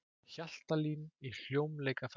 Hjaltalín í hljómleikaferð